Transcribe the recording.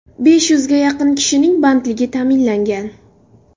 Besh yuzga yaqin kishining bandligi ta’minlangan.